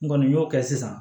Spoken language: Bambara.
N kɔni y'o kɛ sisan